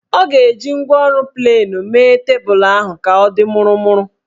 Ọ ga-eji ngwaọrụ plenu mee tebulu ahụ ka ọ dị mụrụmụrụ